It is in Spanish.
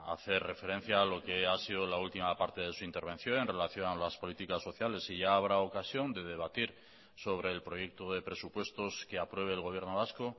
hacer referencia a lo que ha sido la última parte de su intervención en relación a las políticas sociales y ya habrá ocasión de debatir sobre el proyecto de presupuestos que apruebe el gobierno vasco